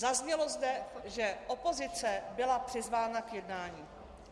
Zaznělo zde, že opozice byla přizvána k jednání.